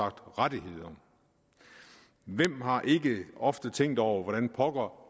rettigheder hvem har ikke ofte tænkt over hvordan pokker